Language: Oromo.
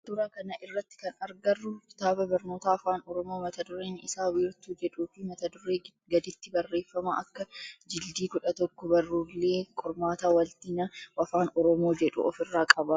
Suuraa kana irratti kan agarru kitaaba barnootaa afaan oromoo mata dureen isaa wiirtuu jedhuu fi mata duree gaditti barreeffama akka jildii-11 barruulee qormaata waaltina afaan oromoo jedhu of irraa qaba.